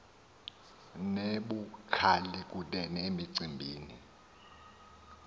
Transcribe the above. nebukhali kunene emicimbini